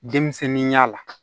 Denmisɛnninya la